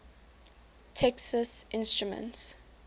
texas instruments